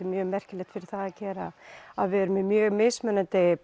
mjög merkilegt fyrir það að gera að við erum með mismunandi